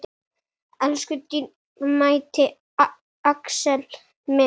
Elsku dýrmæti Axel minn.